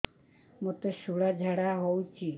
ମୋତେ ଶୂଳା ଝାଡ଼ା ହଉଚି